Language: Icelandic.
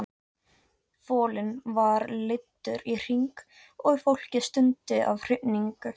Folinn var leiddur í hring og fólkið stundi af hrifningu.